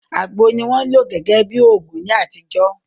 Àgbò ni wọ́n lò gẹ́gẹ́ bí òògùn ní àtijọ́